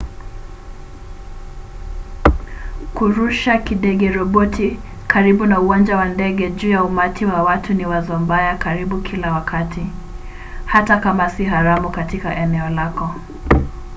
kurusha kidege-roboti karibu na uwanja wa ndege juu ya umati wa watu ni wazo mbaya karibu kila wakati hata kama si haramu katika eneo lako